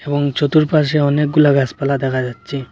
এবং চতুরপাশে অনেকগুলা গাছপালা দেখা যাচ্চে।